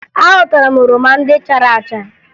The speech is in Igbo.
Aghọtara m oroma ndị chara acha